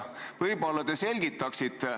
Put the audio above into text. Võib-olla te selgitate?